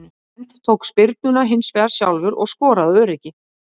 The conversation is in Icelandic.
Bent tók spyrnuna hinsvegar sjálfur og skoraði af öryggi.